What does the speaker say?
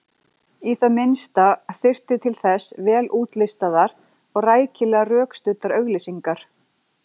Í það minnsta þyrfti til þess vel útlistaðar og rækilega rökstuddar auglýsingar.